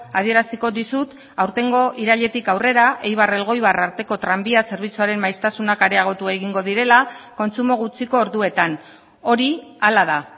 adieraziko dizut aurtengo irailetik aurrera eibar elgoibar arteko tranbia zerbitzuaren maiztasunak areagotu egingo direla kontsumo gutxiko orduetan hori hala da